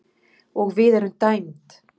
og við erum dæmd